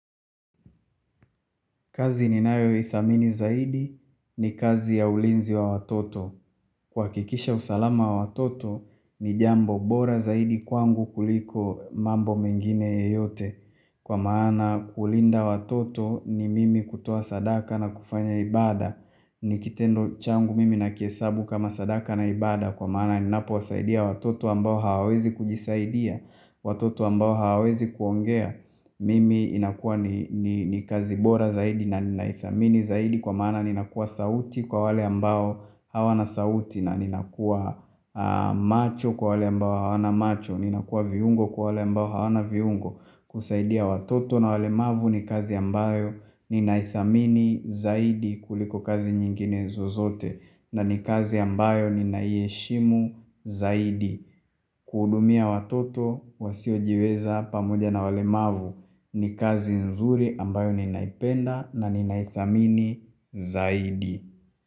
Kazi ninayoithamini zaidi ni kazi ya ulinzi wa watoto. Kuhakikisha usalama wa watoto ni jambo bora zaidi kwangu kuliko mambo mengine yeyote. Kwa maana kulinda watoto ni mimi kutoa sadaka na kufanya ibada. Ni kitendo changu mimi na kihesabu kama sadaka na ibada. Kwa maana ninapo wasaidia watoto ambao hawawezi kujisaidia. Watoto ambao hawezi kuongea. Mimi inakua ni kazi bora zaidi na ninaithamini zaidi kwa maana ninakuwa sauti kwa wale ambao hawana sauti na nina kuwa macho kwa wale ambao hawana macho Ninakua viungo kwa wale ambao hawana viungo kusaidia watoto na walemavu ni kazi ambayo ninaithamini zaidi kuliko kazi nyingine zozote na ni kazi ambayo ninaiheshimu zaidi kuhudumia watoto wasiojiweza pamoja na walemavu ni kazi nzuri ambayo ninaipenda na ninaithamini zaidi.